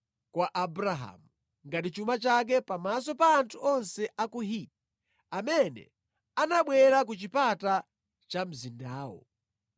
kwa Abrahamu ngati chuma chake pamaso pa anthu onse a ku Hiti amene anabwera ku chipata cha mzindawo.